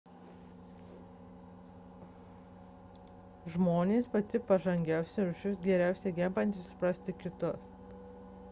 žmonės – pati pažangiausia rūšis geriausiai gebanti suprasti kitus